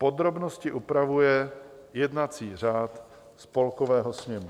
Podrobnosti upravuje jednací řád Spolkového sněmu.